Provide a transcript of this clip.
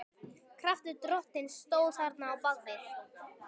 Kraftur Drottins stóð þarna á bak við.